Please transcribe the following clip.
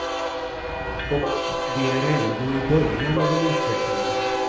Och vi är ändå i början av en utveckling.